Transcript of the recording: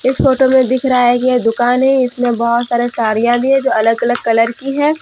इस फोटो में दिख रहा है कि यह एक दुकान है इसमें बहुत सारे साड़ियां भी है जो अलग अलग कलर की है ।